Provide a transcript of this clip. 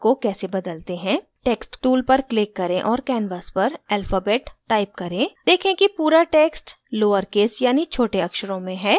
text tool पर click करें और canvas पर alphabets type करें देखें कि पूरा text lowercase यानि छोटे अक्षरों में है